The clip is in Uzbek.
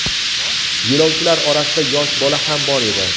Yo‘lovchilar orasida yosh bola ham bor edi.